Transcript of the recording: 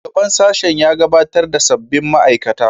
Shugaban sashen ya gabatar da sabbin ma'aikata